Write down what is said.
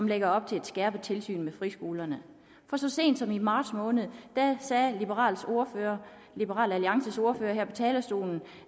lægger op til et skærpet tilsyn med friskolerne for så sent som i marts måned sagde liberal liberal alliances ordfører her på talerstolen